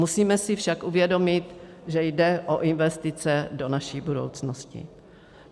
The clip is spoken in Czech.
Musíme si však uvědomit, že jde o investice do naší budoucnosti.